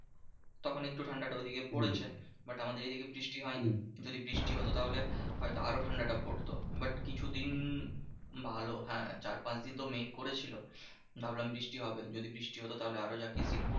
তখন একটু ঠান্ডাটা ঐদিকে পড়েছে but আমাদের এইদিকে বৃষ্টি হয়নি। যদি বৃষ্টি হতো তাহলে হয়তো আরো ঠান্ডাটা পড়তো। but কিছুদিন ভালো হ্যাঁ চার পাঁচ দিন তো মেঘ করেছিল। ভাবলাম বৃষ্টি হবে। যদি বৃষ্টি হতো তাহলে আরো জাকিয়ে শীত পড়তো।